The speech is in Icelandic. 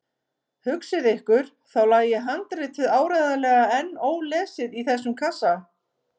Hugsið ykkur, þá lægi handritið áreiðanlega enn ólesið í þessum kassa!